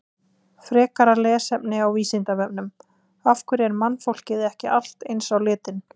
Frekara lesefni á Vísindavefnum: Af hverju er mannfólkið ekki allt eins á litinn?